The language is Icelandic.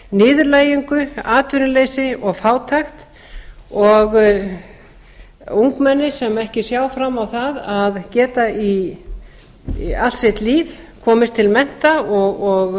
niðurlægingu atvinnuleysi og fátækt og ungmenni sem ekki sjá fram á að geta allt sitt líf komist til mennta og